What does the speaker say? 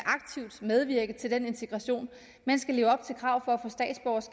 medvirke til den integration at man skal leve op til krav for